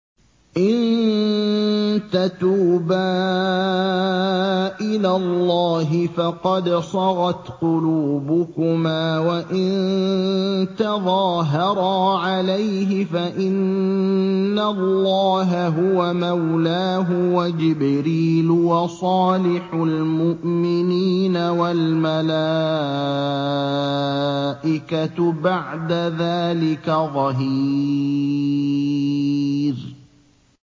إِن تَتُوبَا إِلَى اللَّهِ فَقَدْ صَغَتْ قُلُوبُكُمَا ۖ وَإِن تَظَاهَرَا عَلَيْهِ فَإِنَّ اللَّهَ هُوَ مَوْلَاهُ وَجِبْرِيلُ وَصَالِحُ الْمُؤْمِنِينَ ۖ وَالْمَلَائِكَةُ بَعْدَ ذَٰلِكَ ظَهِيرٌ